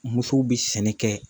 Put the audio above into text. Muso bɛ sɛnɛ kɛ